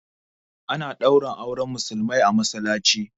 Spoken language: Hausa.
Ana ɗaura auren musulmai a masallaci